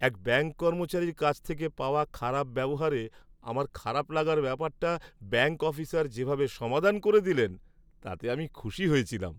এক ব্যাঙ্ক কর্মচারীর কাছ থেকে পাওয়া খারাপ ব্যবহারে আমার খারাপ লাগার ব্যাপারটা ব্যাঙ্ক অফিসার যেভাবে সমাধান করে দিলেন তাতে আমি খুশি হয়েছিলাম।